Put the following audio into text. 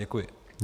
Děkuji.